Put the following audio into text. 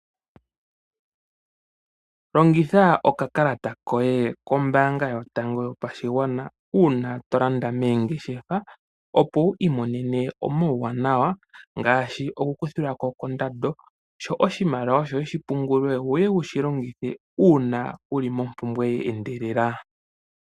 Longitha okakalata koye kombaanga yotango yopashigwana uuna tolanda meengeshefa opo wuli monene omauwanawa ngaashi okukuthilwa ko ondando sho oshimaliwa shoye oshi pungulwe ngweye owushi longithe uuna wuli mo pumbwe ye endelela.